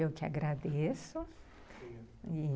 Eu que agradeço.